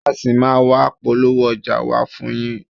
A ṣì máa a wá polówó ọjà wa fún yín.